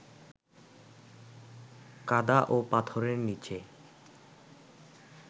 কাঁদা ও পাথরের নিচে